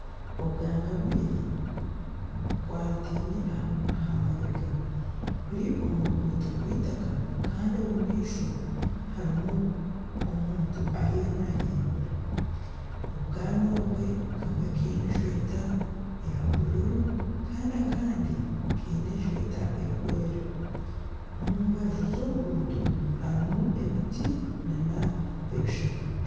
Obwana bubiri bukwataine aha mabega buri omu ruguuto rw'eitaka kandi omu maisho harimu omuntu ariyo nahingura obwana obwe kamwe kaine eshweta eya bururu kandi akandi kaine eshweta erikwera omu mbaju z'oruguuto harimu emiti n'ebishaka.